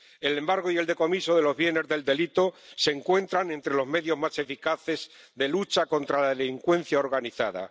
El embargo y el decomiso de los bienes del delito se encuentran entre los medios más eficaces de lucha contra la delincuencia organizada.